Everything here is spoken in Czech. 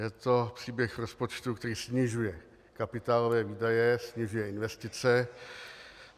Je to příběh rozpočtu, který snižuje kapitálové výdaje, snižuje investice.